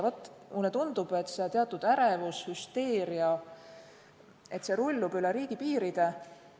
Mulle tundub, et see teatud ärevus ja hüsteeria rullub üle riigipiiride.